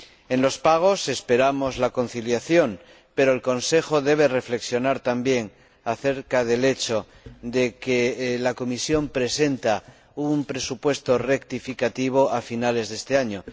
En los pagos esperamos la conciliación, pero el Consejo debe reflexionar también acerca del hecho de que la Comisión presente un presupuesto rectificativo a finales de este año.